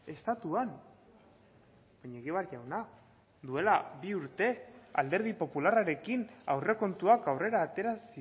estatuan baina egibar jauna duela bi urte alderdi popularrarekin aurrekontuak aurrera atera